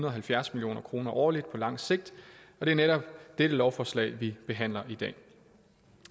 og halvfjerds million kroner årligt på langt sigt og det er netop dette lovforslag vi behandler i dag